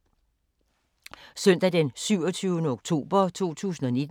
Søndag d. 27. oktober 2019